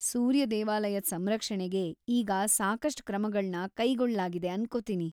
ಸೂರ್ಯ ದೇವಾಲಯದ್ ಸಂರಕ್ಷಣೆಗೆ ಈಗ ಸಾಕಷ್ಟ್ ಕ್ರಮಗಳ್ನ ಕೈಗೊಳ್ಳಲಾಗಿದೆ ಅನ್ಕೊತೀನಿ.